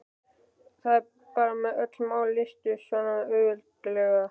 Bara að öll mál leystust svona auðveldlega.